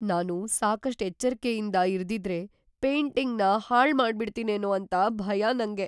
ನಾನು ಸಾಕಷ್ಟ್ ಎಚ್ಚರ್ಕೆಯಿಂದ ಇರ್ದಿದ್ರೆ ಪೇಂಟಿಂಗ್‌ನ ಹಾಳ್‌ ಮಾಡ್ಬಿಡ್ತಿನೇನೋ ಅಂತ ಭಯ ನಂಗೆ.